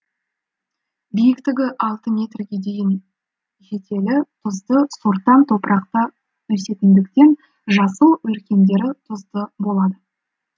биіктігі алты метрге дейін жетелі тұзды сортаң топырақта өсетіндіктен жасыл өркендері тұзды болады